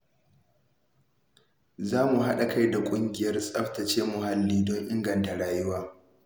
Zan haɗa kai da ƙungiyar tsaftace muhalli don inganta rayuwa.